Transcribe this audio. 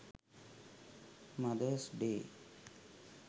mothers day